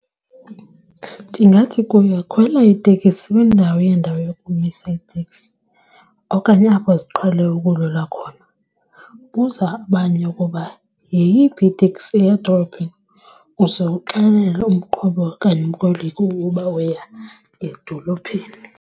Ndingathi kuye, khwela iteksi kwiindawo yendawo yokumisa iteksi okanye apho ziqhele ukudlula khona, buza abanye ukuba yeyiphi iteksi eya edolophini uze uxelele umqhubi okanye umkhweli ukuba uya edolophini.